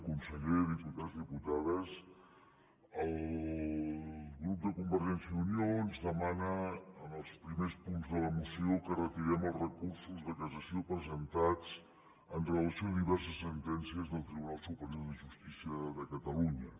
conseller diputats i diputades el grup de convergència i unió ens demana en els primers punts de la moció que retirem els recursos de cassació presentats amb relació a diverses sentències del tribunal superior de justícia de catalunya